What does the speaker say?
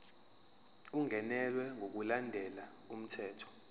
ungenelwe ngokulandela umthetho